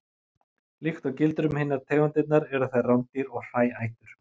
Líkt og gildir um hinar tegundirnar eru þeir rándýr og hræætur.